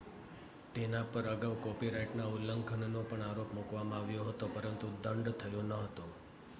તેના પર અગાઉ કોપીરાઇટના ઉલ્લંઘનનો પણ આરોપ મૂકવામાં આવ્યો હતો પરંતુ દંડ થયો ન હતો